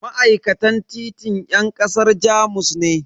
Ma'aikatan titin yan kasar Jamus ne.